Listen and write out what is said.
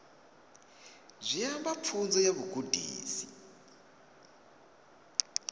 zwi amba pfunzo ya vhugudisi